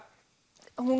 hún